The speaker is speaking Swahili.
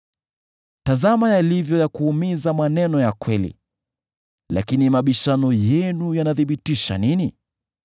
Tazama yalivyo ya kuumiza maneno ya kweli! Lakini mabishano yenu yanathibitisha nini?